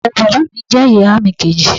ìyàwó bàbá mi je ìyà mi kèjì